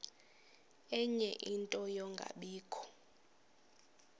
ie nto yokungabikho